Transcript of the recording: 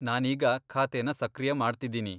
ನಾನೀಗ ಖಾತೆನ ಸಕ್ರಿಯ ಮಾಡ್ತಿದೀನಿ.